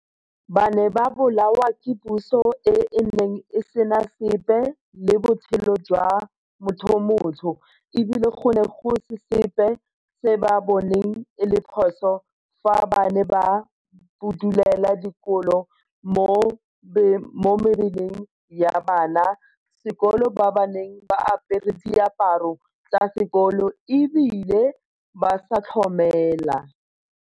Ba ne ba bolawa ke puso e e neng e sena sepe le botshelo jwa mothomotsho e bile go ne go se sepe se ba boneng e le phoso fa ba ne ba budulela dikolo mo mebeleng ya bana ba sekolo ba ba neng ba apere diaparo tsa sekolo e bile ba sa tlhomela.